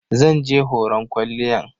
Zan je horon kwalliyan.